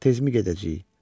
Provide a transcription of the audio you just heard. Tezmi gedəcəyik?